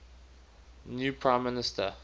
new prime minister